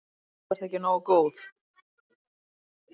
Því þú ert ekki nógu góð.